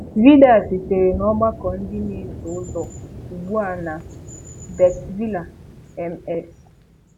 Vidiyo a sitere na ọgbakọ ndị na-eso ụzọ Ugbu a na Batesville, MS.